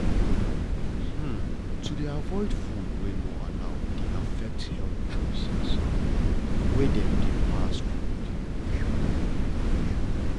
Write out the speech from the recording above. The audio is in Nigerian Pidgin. to dey avoid food wey no allow dey affect health choices wey dem dey pass from generation to generations